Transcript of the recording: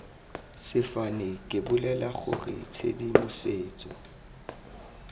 sefane ke bolela gore tshedimosetso